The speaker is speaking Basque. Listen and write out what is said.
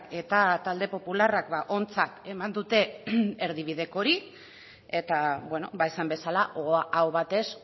eta talde popularrak ontzat eman dute erdibideko hori eta esan bezala aho batez